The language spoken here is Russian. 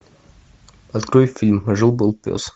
открой фильм жил был пес